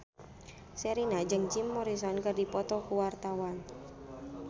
Sherina jeung Jim Morrison keur dipoto ku wartawan